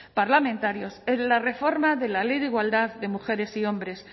parlamentarios en la reforma de la ley de igualdad de mujeres y hombres